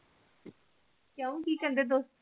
ਕਿਉ ਕੀ ਕਹਿੰਦੇ ਦੋਸਤ